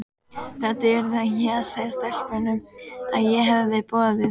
Þetta yrði ég að segja stelpunum, að ég hefði boðið